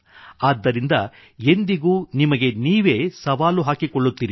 ಆದ್ದರಿಂದ ಎಂದಿಗೂ ನಿಮಗೆ ನೀವೇ ಸವಾಲು ಹಾಕಿಕೊಳ್ಳುತ್ತಿರಿ